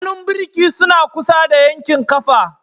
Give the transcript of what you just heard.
Hannun birki suna kusa da yankin ƙafa.